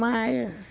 Mas...